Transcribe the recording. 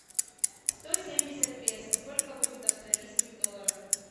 сто семьдесят песо сколько будет австралийских долларов